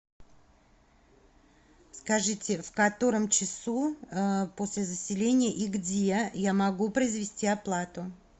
скажите в котором часу после заселения и где я могу произвести оплату